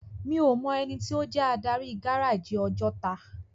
Mi ó mò èniti ó jè ádári gáráji Òjòtá